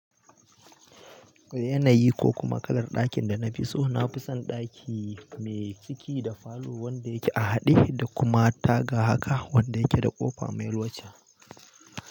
Yanayi ko kuma kalar ɗakin da na fi so, na fi son ɗaki mai ciki da falo wanda yake a haɗe da kuma taga haka wanda yake da ƙofa mai loca.